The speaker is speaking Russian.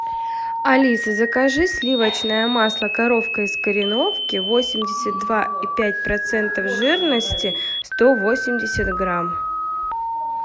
алиса закажи сливочное масло коровка из кореновки восемьдесят два и пять процентов жирности сто восемьдесят грамм